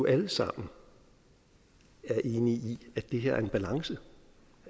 alle sammen er enige i at det her er en balance